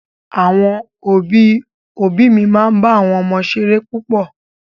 Àwọn òbí òbí mi máa ń bá àwọn ọmọ ṣeré púpọ̀